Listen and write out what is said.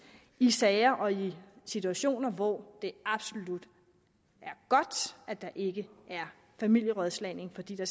i sager og i situationer hvor det absolut er godt at der ikke er familierådslagning fordi der